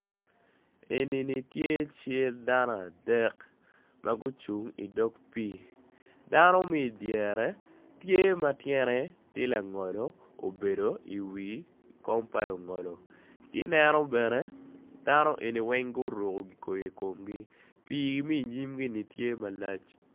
Enini tye cal dano adek magucung i dog pi dano me idyere tye matyene tye langolo obedo i wii kom pa lungolo kineno bene dano eni weng guruko kikoi i komgi pi me inyime ni tye malac.